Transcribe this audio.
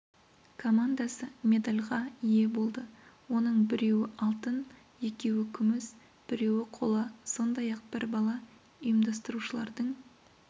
командасы медальға ие болды оның біреуі алтын екеуі күміс біреуі қола сондай-ақ бір бала ұйымдастырушылардың